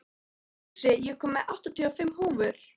Fúsi, ég kom með áttatíu og fimm húfur!